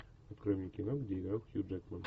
открой мне кино где играл хью джекман